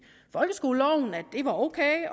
folkeskoleloven at det var ok